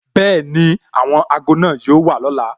Bẹẹni, àwọn ago náà yóò wà lọ́la